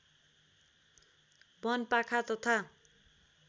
वन पाखा तथा